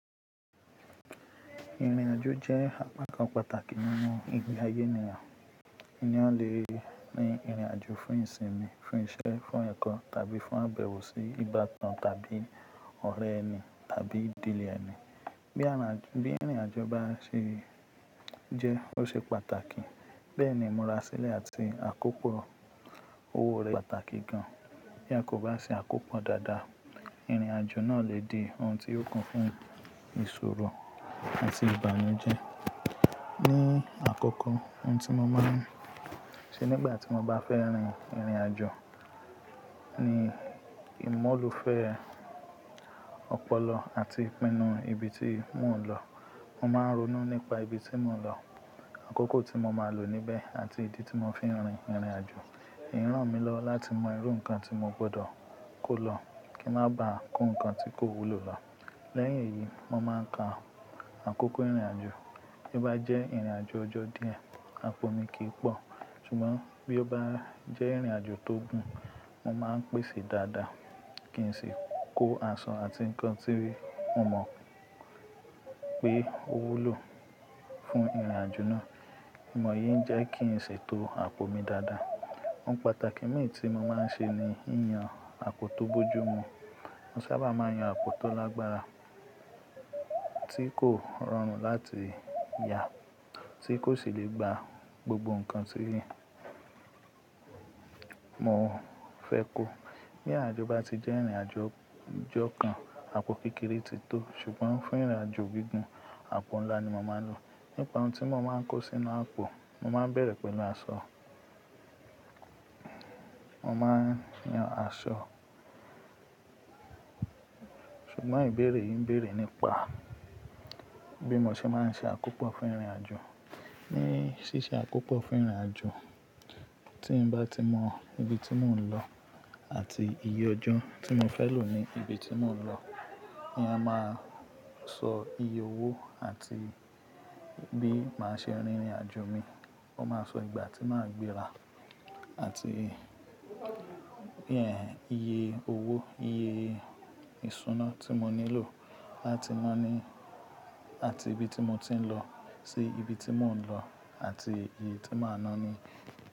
Ìrìnàjò jẹ́ apá kan pàtàkì nínú ìgbé ayé ènìyàn. Ènìyàn le rin ìrìnàjò fún ìsinmi, fún iṣẹ́, fún ẹ̀kọ́ tàbí fún àbẹ̀wò sí ìgbà kan tàbí ọ̀rẹ́ ẹni tàbí ìdílé ẹni. Bí ìrìnàjò bá ṣe jẹ́, ó ṣe pàtàkì. Bẹ́ẹ̀ ni, imúra sílẹ̀ àti àkópọ̀ owó rẹ̀ ṣe pàtàkì gan. Bí a kò bá ṣe àkópọ̀ dáadáa, ìrìnàjò náà lè di ohun tí yi o kún fún ìṣòro àti ìbànújẹ́. Ní àkókò, ohun tí mo máa ń ṣe nígbà tí mo bá fẹ́ rin ìrìnàjò ni ìmọ́lufe ọpọlọ àti ìpinnu ibi tí mò ń lọ. Mo máa ń ronú nípa ibi tí mò ń lọ, àkókò tí mo máa lò níbẹ̀ àti ìdí tí mo fi ń rin ìrìnàjò. Ranmilowo láti mọ irú nǹkan tí mo gbọdọ̀ kó lọ kí ń má ba à kó nǹkan tí kò wúlò lọ. Lẹ́yìn èyí, mo máa ń ka àkókò ìrìnàjò. Bí ó bá jẹ́ ìrìnàjò ọjọ́ díẹ̀, àpò mi kìí pọ̀. Ṣùgbọ́n bí ó bá jẹ́ ìrìnàjò tó gùn, mo máa ń pèsè dáadáa kí n sì kó aṣọ àti nǹkan tí mo mọ̀ pé ó wúlò fún ìrìnàjò náà. Ìmọ̀ yìí ń jẹ́ kí n ṣètò àpò mi dáadáa. Ohun pàtàkì mìíràn tí mo máa ń ṣe ni yíyan àpò tó bójú mu. Mo sábà máa yan àpò tó lágbára tí kò rọrùn láti ya, tí kò sì lè gba gbogbo nǹkan tí mo fẹ́ kó. Bí àjọ bá ti jẹ́ ìrìnàjò ọjọ́ kan, àpò kékeré ti tó. Ṣùgbọ́n fún ìrìnàjò gígùn, àpò ńlá ni mo máa ń lò. Nípa ohun tí mo máa ń kó sínú àpò, mo máa ń bẹ̀rẹ̀ pẹ̀lú aṣọ. Mo máa ń yan aṣọ. Ṣùgbọ́n ìbéèrè yìí ń béèrè nípa bí mo ṣe máa ń ṣe àkópọ̀ fún ìrìnàjò. Ni ṣíṣe àkópọ̀ fún ìrìnàjò, tí ń bá ti mọ ibi tí mò ń lọ àti iye ọjọ́ tí mo fẹ́ lò ní ibi tí mò ń lọ, ni a máa sọ iye owó àti bí màá ṣe rin ìrìnàjò mi. Wọ́n máa sọ ìgbà tí màá gbéra àti iye owó, iye ìṣúná tí mo nílò láti naa ní àti ibi tí mo ti ń lọ sí ibi tí mò ń lọ àti iye tí màá náà ni.